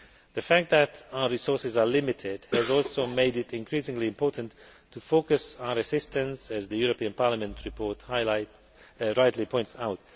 The fact that our resources are limited has also made it increasingly important to focus our assistance, as the European Parliament report rightly points out.